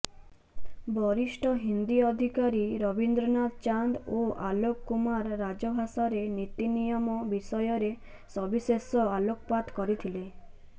ବରିଷ୍ଠ ହିନ୍ଦୀ ଅଧିକାରୀ ରବିନ୍ଦ୍ରନାଥ ଚାନ୍ଦ ଓ ଆଲୋକ କୁମାର ରାଜଭାଷାର ନୀତିନିୟମ ବିଷୟରେ ସବିଶେଷ ଆଲୋକପାତ କରିଥିଲେ